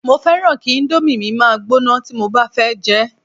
mo fẹràn ki Indomie mi ma gbóná ti mo ba fẹ jẹ